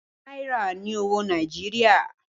Náírà ni owó Nàìjíríà.